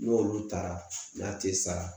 N'olu taara n'a te sara